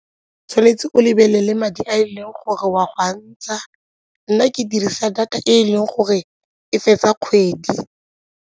Tshwanetse o lebelele madi a e leng gore o a go a ntsha, nna ke dirisa data e e leng gore e fetsa kgwedi.